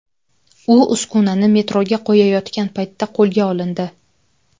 U uskunani metroga qo‘yayotgan paytda qo‘lga olindi.